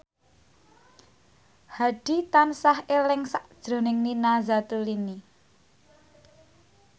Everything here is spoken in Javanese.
Hadi tansah eling sakjroning Nina Zatulini